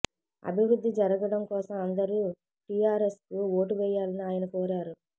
అభివృద్ధి జరగడం కోసం అందరూ టిఆర్ఎస్కు ఓటు వేయాలని ఆయన కోరారు